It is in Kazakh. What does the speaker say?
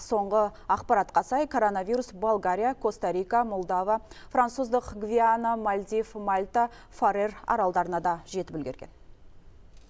соңғы ақпаратқа сай коронавирус болгария коста рика молдова француздық гвиана мальдив мальта фарер аралдарына да жетіп үлгерген